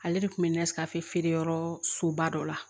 Ale de kun bɛ ne sɛgɛn fɛ feere yɔrɔ soba dɔ la